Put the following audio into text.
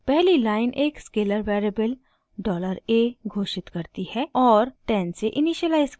पहली लाइन एक scalar variable $a घोषित करती है और 10 से इनिशिअलाइज़ करती है